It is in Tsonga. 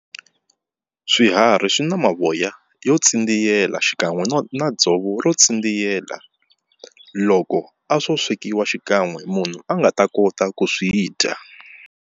Swiharhi swi na mavoya yo tsindziyela xikan'we no na dzovo ro tsindziyela loko a swo swekiwa xikan'we munhu a nga ta kota ku swi dya.